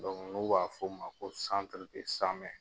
nu b'a fɔ o ma ko